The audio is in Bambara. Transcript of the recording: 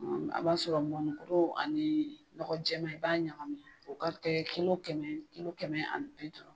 A b'a sɔrɔ mɔnnikuru ani nɔgɔjɛman ,i b'a ɲagami o ka kɛ kilo kɛmɛ kilo kɛmɛ ani bi duuru.